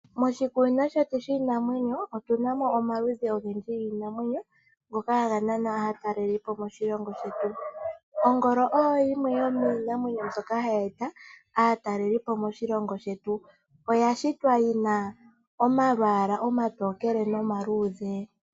Moshikunino shetu shiinamwenyo otunamo omaludhi ogendji giinamwenyo ngoka haga nana aatalelipo moshilongo shetu. Ongolo oyo yimwe yomiinamwenyo ndjoka hayi nana aatalelipo yeye moshilongo shetu, noya shitwa yina omalwaala omaluudhe nomatokele.